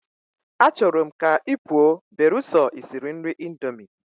Achoro m ka ipuo beruso isiri nri indomie.